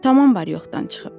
Tamam var-yoxdan çıxıb.